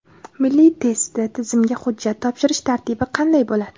Milliy test tizimiga hujjat topshirish tartibi qanday bo‘ladi?.